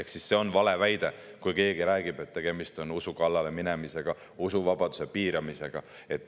Ehk see on vale, kui keegi räägib, et tegemist on usu kallale minemisega, usuvabaduse piiramisega.